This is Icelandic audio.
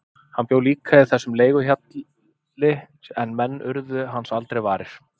Hann bjó líka í þessum leiguhjalli en menn urðu hans aldrei varir.